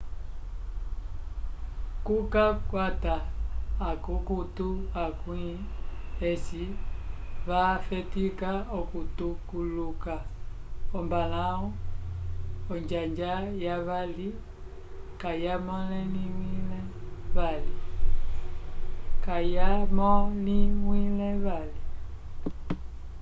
k'okukwata akukutu akwĩ eci vafetika okutuluka ombalãwu onjanja yavali kayamõliwile vali